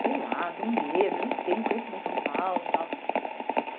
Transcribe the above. Sei lá, tenho medo, não sei, não conheço bem São Paulo e tal.